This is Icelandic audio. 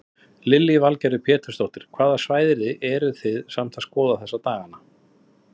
Lillý Valgerður Pétursdóttir: Hvaða svæði eru þið samt að skoða þessa daganna?